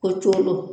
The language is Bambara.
Ko coolo